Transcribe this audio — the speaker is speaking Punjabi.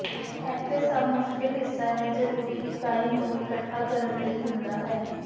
ਇੱਥੇ ਸਭ ਮੁਸ਼ਕਲ ਹਿੱਸਾ ਹੈ ਜ਼ਰੂਰੀ ਇਕਾਈ ਨੂੰ ਇੱਕਠਾ ਕਰਨ ਲਈ ਹੁੰਦਾ ਹੈ